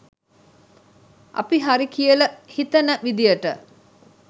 අපි හරි කියල හිතන විදියට